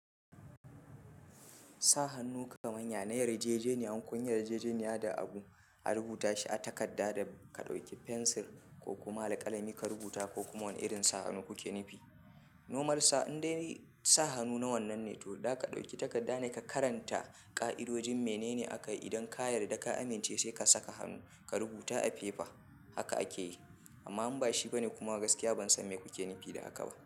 Sa hannu kamar ya na yarjejeniya, in kunyi yarjejeniya da abu, a rubuta shi a takarda da ka ɗauki fensir ko kuma alkalami ka rubuta ko kuma wane irin sa hannu kuke nufi. Nomarsa indai sa hannu na wannan ne toh da za ɗauki takarda ne ka karanta ka'idojin menene aka yi idan kayar da ka amince sai ka saka hannu, ka rubuta a fefa haka ake yi. Amma inba shi bane kuma gaskiya ban san me kuke nufi da haka ba.